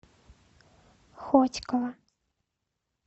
хотьково